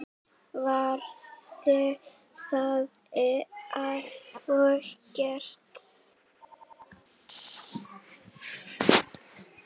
Var það og gert.